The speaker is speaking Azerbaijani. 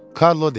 Karlo dedi.